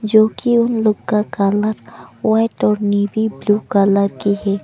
जो की उन लोग का कलर व्हाइट और नेवी ब्लू कलर की है।